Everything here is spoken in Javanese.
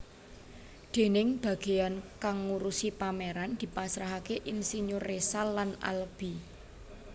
Dèning bageyan kang ngurusi pameran dipasrahake insinyur Résal lan Alby